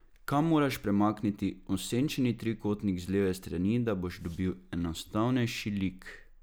Kam moraš premakniti osenčeni trikotnik z leve strani, da boš dobil enostavnejši lik?